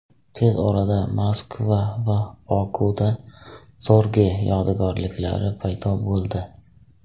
Tez orada Moskva va Bokuda Zorge yodgorliklari paydo bo‘ldi.